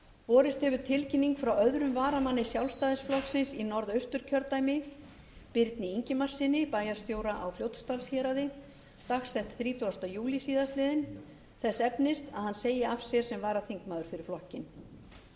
borist hefur tilkynning frá öðrum varamanni sjálfstæðisflokksins í norðausturkjördæmi birni ingimarssyni bæjarstjóra á fljótsdalshéraði dagsett þrítugasta júlí síðastliðnum þess efnis að hann segi af sér sem varaþingmaður fyrir flokkinn